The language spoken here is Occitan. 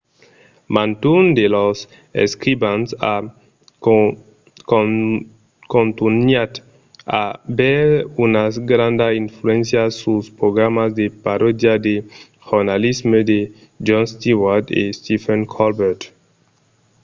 mantun de lors escrivans a contunhat a aver una granda influéncia suls programas de paròdia de jornalisme de jon stewart e stephen colbert